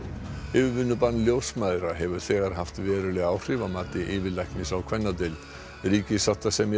yfirvinnubann ljósmæðra hefur þegar haft veruleg áhrif að mati yfirlæknis á kvennadeild ríkissáttasemjari